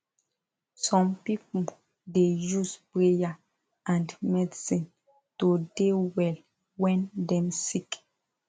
some pipu da use prayer and medicine to de well wen dem sik